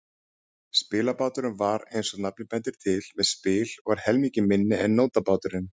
Spilbáturinn var, eins og nafnið bendir til, með spil og var helmingi minni en nótabáturinn.